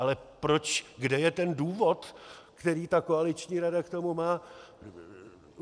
Ale proč, kde je ten důvod, který ta koaliční rada k tomu má?